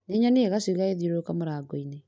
Nĩnyonire gacui gagĩthiũrũruka mũrango-inĩ